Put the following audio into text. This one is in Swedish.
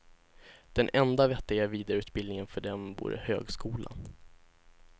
Den enda vettiga vidareutbildningen för dem vore högskolan.